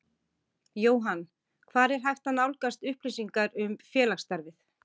Jóhann: Hvar er hægt að nálgast upplýsingar um félagsstarfið?